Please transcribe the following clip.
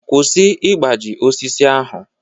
Kwụsị ịgbaji osisi ahụ!